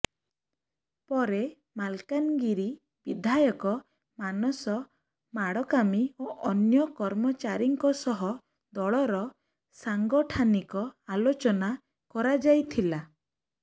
ପରେ ମାଲକାନଗିରି ବିଧାୟକ ମାନସ ମାଡକାମି ଓ ଅନ୍ୟ କର୍ମଚାରୀଙ୍କ ସହ ଦଳର ସାଙ୍ଗଠାନିକ ଆଲୋଚନା କରାଯାଇଥିଲା